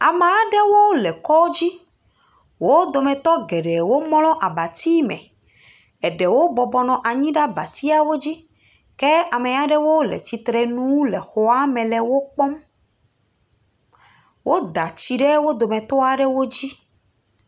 Ame aɖewo le kɔdzi wo dometɔ geɖewo mlɔ abati me, eɖewo bɔbɔnɔ anyi ɖe abatiawo dzi ke ame aɖewo le tsitre nu le xɔame le wo kpɔm, woda tsi ɖe wo dometɔ aɖewo dzi.